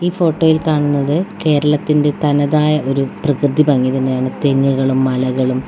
ഈ ഫോട്ടോയിൽ കാണുന്നത് കേരളത്തിന്റെ തനതായ ഒരു പ്രകൃതിഭംഗി തന്നെയാണ് തെങ്ങുകളും മലകളും --